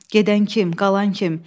Gedən kim, qalan kim?